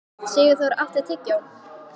Sigurþór, áttu tyggjó?